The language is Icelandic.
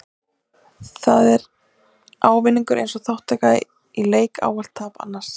Þá er ávinningur eins þátttakanda í leik ávallt tap annars.